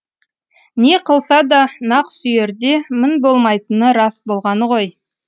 не қылса да нақсүйерде мін болмайтыны рас болғаны ғой